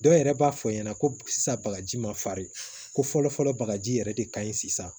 Dɔw yɛrɛ b'a fɔ ɲɛna ko sisan bagaji ma farin ko fɔlɔ fɔlɔ bagaji yɛrɛ de ka ɲi sisan